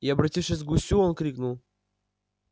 и обратившись к гусю он крикнул